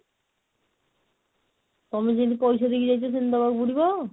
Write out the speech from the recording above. ତମେ ଯେମିତି ପଇସା ଦେଇକି ଯାଇଛ ସେମିତି ଦବାକୁ ପଡିବ?